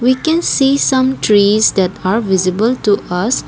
we can see some trees that are visible to us.